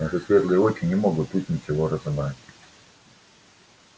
наши светлые очи не могут тут ничего разобрать